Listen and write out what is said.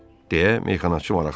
Deyə meyxanaçı maraqlandı.